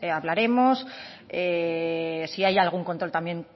hablaremos si hay algún control también